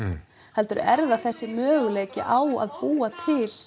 heldur er það þessi möguleiki á að búa til